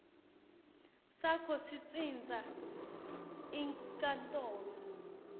sakho sitsintsa inkantolo